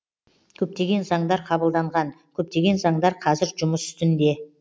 көптеген заңдар қабылданған көптеген заңдар қазір жұмыс үстінде